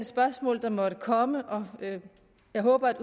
spørgsmål der måtte komme og jeg håber at